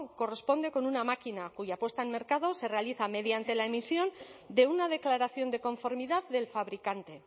corresponde con una máquina cuya puesta en mercado se realiza mediante la emisión de una declaración de conformidad del fabricante